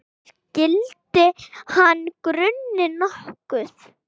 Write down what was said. Skyldi hana gruna nokkuð?